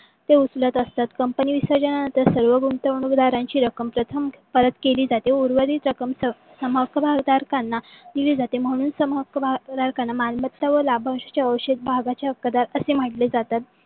ते उचलत असतात. company विसर्जणा नंतर सर्व गुंतवणूक दारांची रक्कम प्रथम परत केली जाते. व उर्वरित रक्कम सम हक्क भागधरकांना दिली जाते. म्हणून सम हक्क भागधरकांना मालमत्ता व लाभांशचे अवशेत भागाचे हक्कादार असे म्हटले जाते.